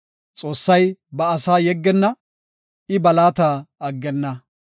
Xoossay ba asaa yeggenna; I ba laata aggenna.